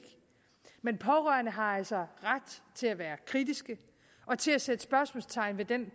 men pårørende har altså ret til at være kritiske og til at sætte spørgsmålstegn ved den